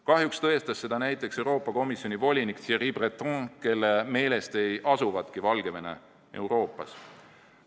Kahjuks tõestas seda näiteks Euroopa Komisjoni volinik Thierry Breton, kelle meelest ei asugi Valgevene Euroopas.